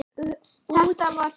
Þetta átti við Tóta.